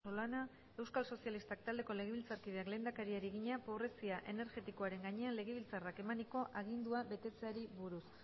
galdera natalia rojo solana euskal sozialistak taldeko legebiltzarkideak lehendakariari egina pobrezia energetikoaren gainean legebiltzarrak emaniko agindua betetzeari buruz